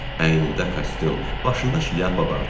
Əynində kostyum, başında şlyapa vardı.